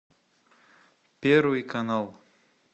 первый канал